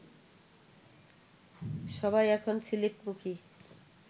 সবাই এখন সিলেটমুখী